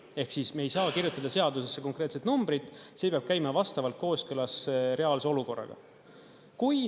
Ehk siis me ei saa kirjutada seadusesse konkreetset numbrit, see peab käima vastavalt kooskõlas reaalse olukorraga.